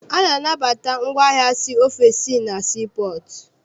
A na-anabata ngwaahịa si ofesi na sii pọọtụ.